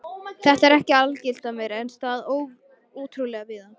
Þetta er ekki algilt en á sér stað ótrúlega víða.